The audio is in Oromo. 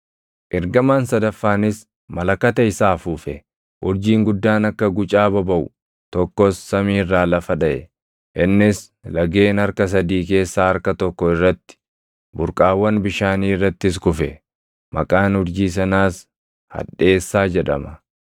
Ergamaan sadaffaanis malakata isaa afuufe; urjiin guddaan akka gucaa bobaʼu tokkos samii irraa lafa dhaʼe; innis lageen harka sadii keessaa harka tokko irratti, burqaawwan bishaanii irrattis kufe;